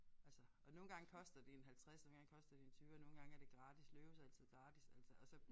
Altså og nogle gange koster det en halvtredser nogle gange koster det en tyver nogle gange er det gratis Løve's er altid gratis altså og så